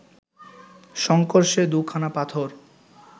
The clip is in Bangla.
শঙ্কর সে দু’খানা পাথর